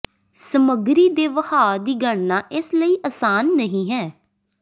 ਸਮੱਗਰੀ ਦੇ ਵਹਾਅ ਦੀ ਗਣਨਾ ਇਸ ਲਈ ਆਸਾਨ ਨਹੀ ਹੈ